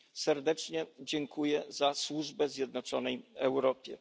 serdecznie dziękuję za służbę zjednoczonej Europie.